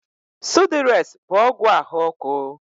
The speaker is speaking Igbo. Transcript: Sụdụres bụ ọgwụ ahụ ọkụ.